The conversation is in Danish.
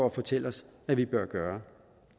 at fortælle os vi bør gøre